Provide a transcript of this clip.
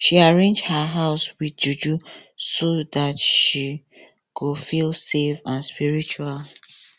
she arrange her house with juju so that she go feel safe and spritual